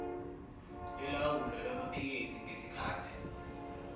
yolawulo lwamaphikethi ngesikhathi